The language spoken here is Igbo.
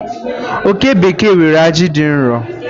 Oke bekee nwere aji dị nro.